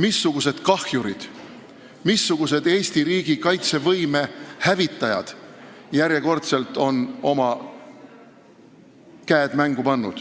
missugused kahjurid, missugused Eesti riigi kaitsevõime hävitajad on järjekordselt oma käed mängu pannud.